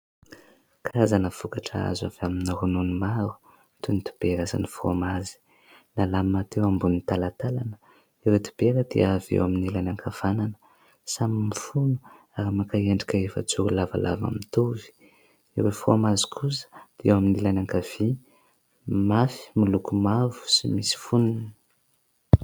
Karazana vokatra azo avy amin'ny ronono maro toy : ny dibera, sy ny frômazy. Nalamina teo ambony talantalana. Ireo dibera dia eo amin'ny ilany ankavanana, samy mifono ary maka endrika efajoro lavalava mitovy ; ireo frômazy kosa dia eo amin'ny ilany ankavia, mafy, miloko mavo sy misy foniny.